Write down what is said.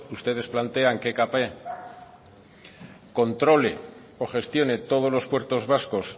ustedes plantean que ekp controle o gestione todo los puertos vascos